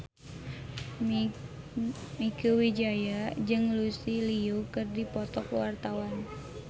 Mieke Wijaya jeung Lucy Liu keur dipoto ku wartawan